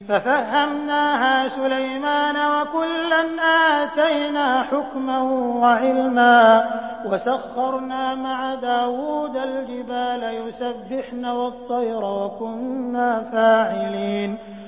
فَفَهَّمْنَاهَا سُلَيْمَانَ ۚ وَكُلًّا آتَيْنَا حُكْمًا وَعِلْمًا ۚ وَسَخَّرْنَا مَعَ دَاوُودَ الْجِبَالَ يُسَبِّحْنَ وَالطَّيْرَ ۚ وَكُنَّا فَاعِلِينَ